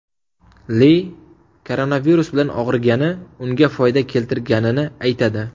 Li koronavirus bilan og‘rigani unga foyda keltirganini aytadi.